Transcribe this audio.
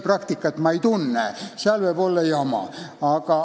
Praktikat ma ei tunne, seal võib olla jamasid.